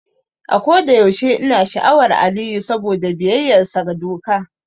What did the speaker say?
A kodayaushe ina sha'awar Aliyu saboda biyayyarsa ga doka.